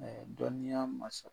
dɔnniya ma sɔr